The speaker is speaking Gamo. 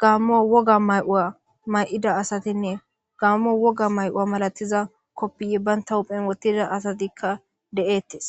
gaammo woga ma'uwa ma'ida asatinne gaammo woga ma'uwa malatiza koppiy baynta huphen wottida asatikka de'eettes